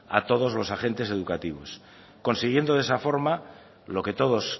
a todos los agentes educativos consiguiendo de esa forma lo que todos